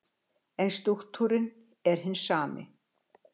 En strúktúrinn er hinn sami.